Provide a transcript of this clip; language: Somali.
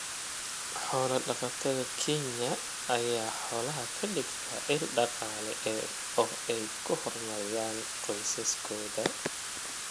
Xoolo-dhaqatada Kenya ayaa xoolaha ka dhigta il dhaqaale oo ay ku horumariyaan qoysaskooda.